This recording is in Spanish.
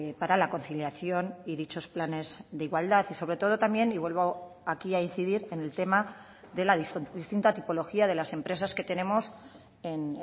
para la conciliación y dichos planes de igualdad y sobre todo también y vuelvo aquí a incidir en el tema de la distinta tipología de las empresas que tenemos en